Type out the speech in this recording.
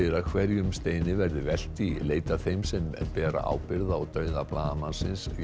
að hverjum steini verði velt í leit að þeim sem ber ábyrgð á dauða blaðamannsins